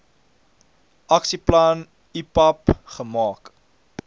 aksieplan ipap gemaak